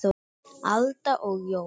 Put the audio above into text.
Alda og Jón.